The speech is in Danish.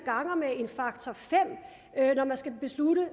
ganger med en faktor fem når man skal beslutte